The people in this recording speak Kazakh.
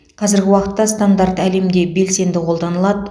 қазіргі уақытта стандарт әлемде белсенді қолданылады